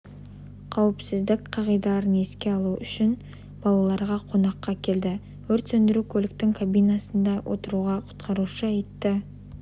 қауіпсіздік қағидаларын еске салу үшін балаларға қонаққа келді өрт сөндіру көліктің кабинасында отыруға құтқарушы итті